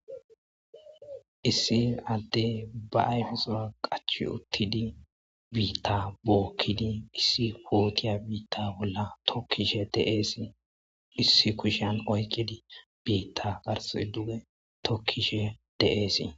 issi adde ba ayfizaa qachi uttidi biitta bookkidi issi pootiya biitta bolla tokkishe de'eesi issi kushan oykkidi biitta garse duge tokkishe de'eesi